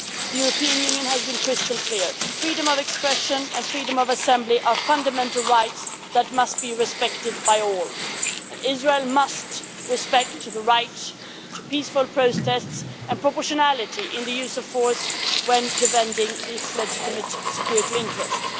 The European Union has been crystal clear freedom of expression and freedom of assembly are fundamental rights that must be respected by all and Israel must respect the right to peaceful protests and proportionality in the use of force when defending its legitimate security interests.